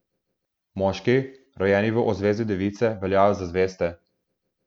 Moški, rojeni v ozvezdju device, veljajo za zveste.